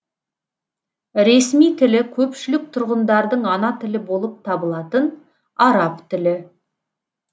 ресми тілі көпшілік тұрғындардың ана тілі болып табылатын араб тілі